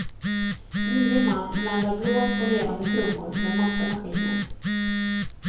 Nio man blandar blås och levande trummor med massa maskiner.